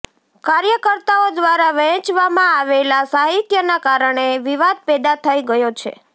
કાર્યકર્તાઓ દ્વારા વહેંચવામાં આવેલા સાહિત્યના કારણે વિવાદ પેદા થઇ ગયો છે